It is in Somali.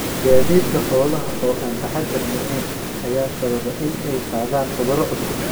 Gaadiidka xoolaha oo aan taxaddar lahayn ayaa sababa in ay qaadaan cudurro cusub.